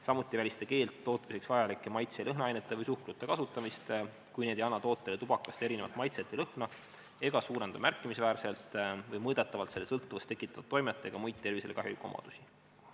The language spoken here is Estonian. Samuti ei välista keeld tootmiseks vajalike maitse- ja lõhnaainete või suhkrute kasutamist, kui need ei anna tootele tubakast erinevat maitset või lõhna ega suurenda märkimisväärselt või mõõdetavalt selle sõltuvust tekitavat toimet ega muid tervisele kahjulikke omadusi.